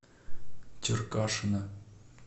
черкашина